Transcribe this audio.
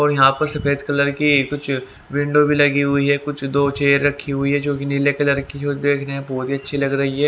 और यहां पर सफेद कलर की कुछ विंडो भी लगी हुई है कुछ दो चेयर रखी हुई है जो कि नीले कलर की जो देख रहे हैं बहुत ही अच्छी लग रही है।